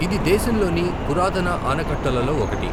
ఇది దేశంలోని పురాతన ఆనకట్టలలో ఒకటి.